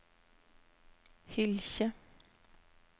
Hylkje